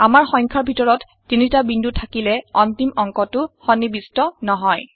আমাৰ সংখ্যাৰ ভিতৰত ৩টা বিন্দু থাকিলে অন্তিম অংকটো সন্নিবিষ্ট নহয়